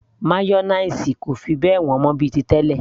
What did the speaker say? mayonnaise kò fi bẹ́ẹ̀ wọ́n mọ́ bíi ti tẹlẹ